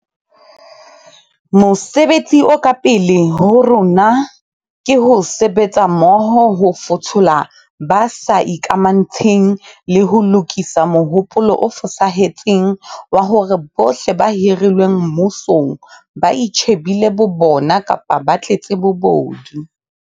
Mosebetsi o ka pele ho rona ke ho sebetsa mmoho ho fothola ba sa ikamantshe ng, le ho lokisa mohopolo o fosahetseng wa hore bohle ba hirilweng mmusong ba itjhe bile bo bona kapa ba tletse bobodu.